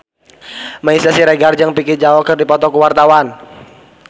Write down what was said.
Meisya Siregar jeung Vicki Zao keur dipoto ku wartawan